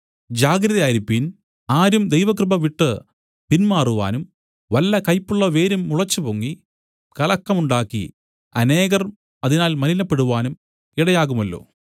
ജാഗ്രതയായിരിപ്പീൻ ആരും ദൈവകൃപ വിട്ടു പിൻമാറുവാനും വല്ല കയ്പുമുള്ള വേരും മുളച്ചുപൊങ്ങി കലക്കമുണ്ടാക്കി അനേകർ അതിനാൽ മലിനപ്പെടുവാനും ഇടയാകുമല്ലോ